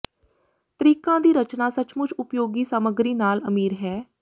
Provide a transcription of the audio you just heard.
ਤਰੀਕਾਂ ਦੀ ਰਚਨਾ ਸੱਚਮੁੱਚ ਉਪਯੋਗੀ ਸਾਮੱਗਰੀ ਨਾਲ ਅਮੀਰ ਹੈ